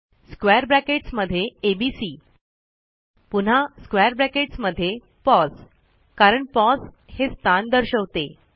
square brackets मध्ये ABC पुन्हा square brackets मध्ये पोस कारण पोस हे स्थान दर्शवते